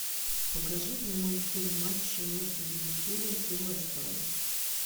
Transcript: покажи прямой эфир матча между ливерпулем и лестером